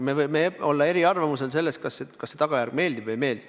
Me võime olla eri arvamusel selles, kas see tagajärg meeldib või ei meeldi.